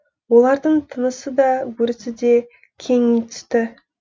олардың тынысы да өрісі де кеңи түсті